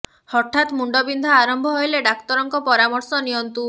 ହଠାତ ମୁଣ୍ଡ ବିନ୍ଧା ଆରମ୍ଭ ହେଲେ ଡାକ୍ତରଙ୍କ ପରାମର୍ଶ ନିଅନ୍ତୁ